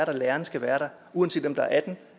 og at lærerne skal være der uanset om der er atten